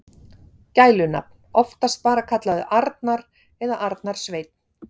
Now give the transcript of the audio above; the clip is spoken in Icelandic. Gælunafn: Oftast bara kallaður Arnar eða Arnar Sveinn.